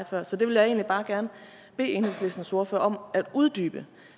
før så det vil jeg egentlig bare gerne bede enhedslistens ordfører om at uddybe